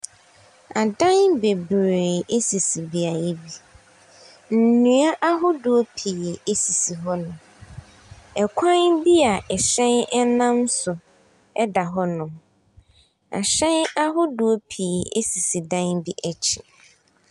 Adan bebree ɛsisi beayɛ bi. Nnua ahodoɔ pii ɛsisi hɔ nom. Ɛkwan bi a ɛhyɛn ɛnam so ɛda hɔ nom. Ahyɛn ahodoɔ pii ɛsisi dan bi akyi.